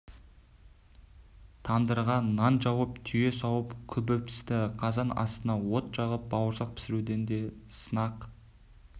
тандырға нан жауып түйе сауып күбі пісті қазан астына от жағып бауырсақ пісіруден де сынақ